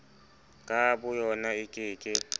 ka boyona e ke ke